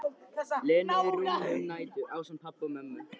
Lenu í rúminu um nætur, ásamt pabba og mömmu.